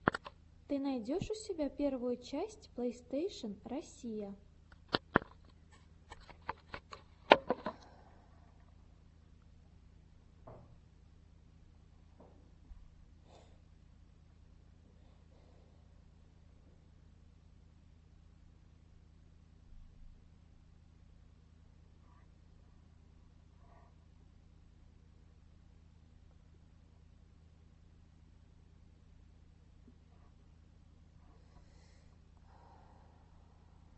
ты найдешь у себя первую часть плейстейшен россия